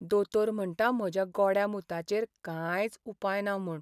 दोतोर म्हणटा म्हज्या गोड्या मुताचेर कांयच उपाय ना म्हूण.